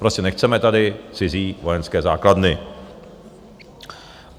Prostě nechceme tady cizí vojenské základny.